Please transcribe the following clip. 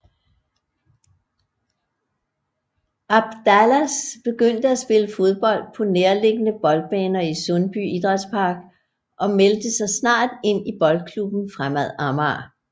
Abdalas begyndte at spille fodbold på nærliggende boldbaner i Sundby Idrætspark og meldte sig snart ind i Boldklubben Fremad Amager